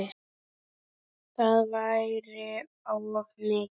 Það væri of mikið.